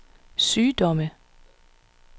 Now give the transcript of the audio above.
sygdomme